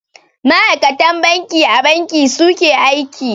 Ma'akatan banki a Banki su ke aiki.